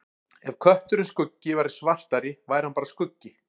Ef kötturinn Skuggi væri svartari væri hann bara skuggi.